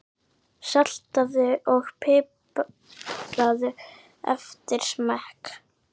Saltaðu og pipraðu eftir smekk.